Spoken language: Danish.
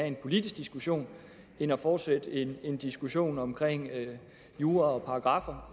en politisk diskussion end at fortsætte en en diskussion om jura og paragraffer